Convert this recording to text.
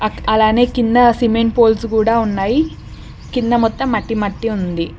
అలానే కింద cement poles కూడా ఉన్నాయి కింద మొత్తం మట్టి మట్టి ఉంది.